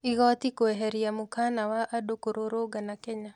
Igoti kũĩheria mokana wa andũ kũrũrũngana Kenya.